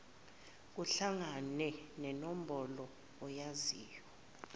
kuhlangane nenombolo oyaziyo